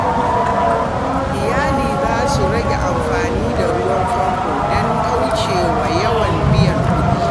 Iyali za su rage amfani da ruwan famfo don kauce wa yawan biyan kuɗi.